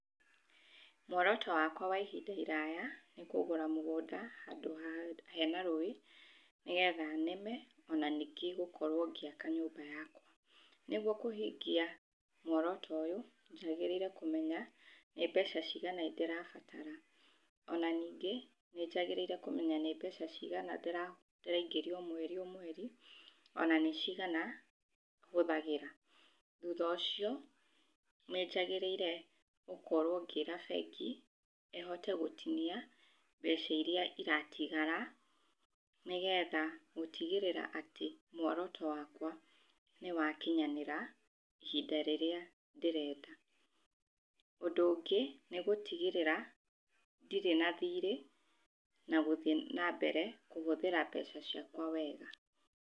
Muoroto wakwa wa ihinda iraya nĩ kũgũra mũgũnda handũ ha, hena rũĩ, nĩgetha nĩme ona ningĩ gũkorwo ngĩaka nyũmba yakwa. Nĩguo kũhingia muoroto ũyũ, njagĩrĩire kũmenya nĩ mbeca cigana ndĩrabatara. Ona ningĩ nĩnjagĩrĩire kũmenya nĩ mbeca cigana ndĩra, ndĩraingĩria o mweri o mweri, ona nĩ cigana hũthagĩra. Thutha ũcio nĩ njagĩrĩire gũkorwo ngĩĩra bengi ĩhote gũtinia mbeca iria iratigara, nĩgetha gũtigĩrĩra atĩ muoroto wakwa nĩwakinyanĩra ihinda rĩrĩa ndĩrenda. Ũndũ ũngĩ nĩ gũtigĩrĩra ndĩrĩ na thiirĩ na gũthiĩ nambere kũhũthĩra mbeca ciakwa wega.